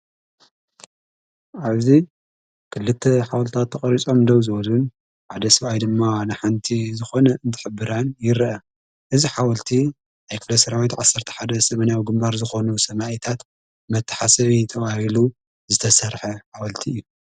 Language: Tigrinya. ዓብዚ ክልተ ሓወልታት ተቐሪጾ ምደው ዘወዝን ዓደ ሥብኣይ ድማ ንሓንቲ ዝኾነ እንትሕብራን ይረአ እዝ ሓወልቲ ኣይክለሠራዊት ዓሠርተ ሓደ ሰመና ግምባር ዝኾኑ ሰማእታት መተሓሰብ ተዋሂሉ ዝተሠርሐ ኃወልቲ እዩ።